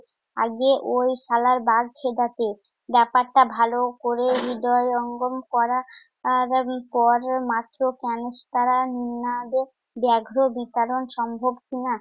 আগে ওই শালার বাঘ চিতাকে ব্যপারটা ভালো করে হৃদয়ঙ্গম করা~ আর পর মাত্র ক্যনেস্তারা না ব্যঘ্র বিচরণ সম্ভব কিনা!